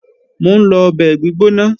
Mò ń lọ ọbẹ̀ gbígbóná